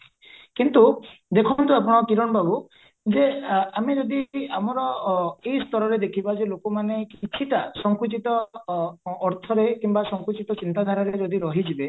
କିନ୍ତୁ ଦେଖନ୍ତୁ ଆପଣ କିରଣ ବାବୁ ଯେ ଆମେ ଯଦି ଆମର ଏଇ ସ୍ତରରେ ଦେଖିବା ଯେ ଲୋକମାନେ କିଛିଟା ସଙ୍କୁଚିତ ଅର୍ଥରେ କିମ୍ବା ସଙ୍କୁଚିତ ଚିନ୍ତା ଧାରାରେ ଯଦି ରହିଯିବେ